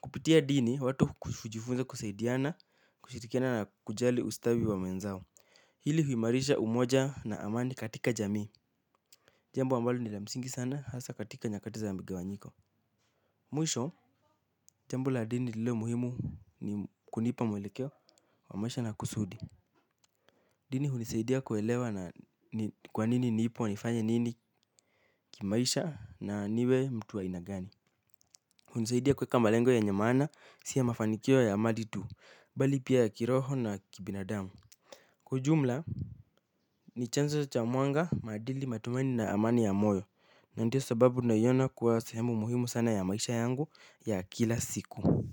Kupitia dini watu hujifunza kusaidiana kushirikiana na kujali ustawi wa mwenzao. Hili huimarisha umoja na amani katika jamii. Jambo ambalo ni la msingi sana hasa katika nyakati za wa mgawanyiko. Mwisho jambo la dini lililo muhimu ni kunipa mwelekeo wa maisha na kusudi. Dini hunisaidia kuelewa na ni kwa nini nipo nifanye nini kimaisha na niwe mtu wa aina gani. Hunisaidia kuweka malengo yenye maana si ya mafanikio ya maditu bali pia ya kiroho na kibinadamu. Kwa ujumla ni chanzo cha mwanga maadili matumaini na amani ya moyo na ndiyo sababu tunaiona kuwa sehemu muhimu sana ya maisha yangu ya kila siku.